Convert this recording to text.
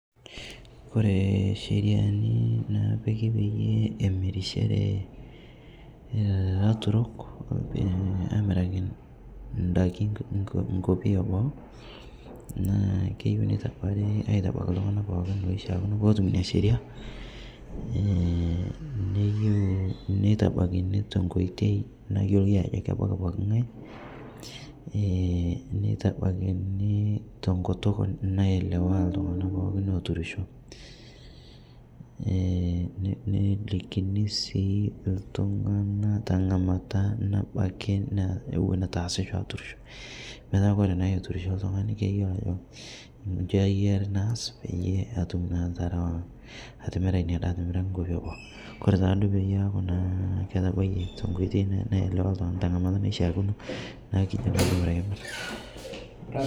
Kore sheriani napiki peyie emirishere laturok amiraki ndaki nkopii eboo naa keyeu neitabarii aitabaki ltung'ana pooki loishiakino pootum inia sheria, ii neyeu neitabakini tenkoitei nayoloi ajo kebakii ebaki ng'ai neitabakinii tonkutuk nayelewaa ltung'ana pookin oturisho, nelikini sii ltung'ana teng'amata nabaki naa ewon etuu easicho aturisho metaa kore naa eturisho ltung''ani keyoloo ajo nchi eyari naas peyie atum naa atarawaa atimiraa inia daa amirakii nkopi eboo kore taaduo peyie eaku naa etabayie tenkoitei naelewa ltung'ana tang'amata naishiakino naa kijoki kore eimuu.